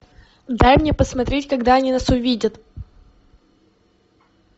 дай мне посмотреть когда они нас увидят